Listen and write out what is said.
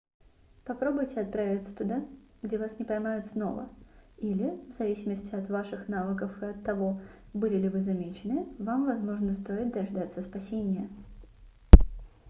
попробуйте отправиться туда где вас не поймают снова или в зависимости от ваших навыков и от того были ли вы замечены вам возможно стоит дождаться спасения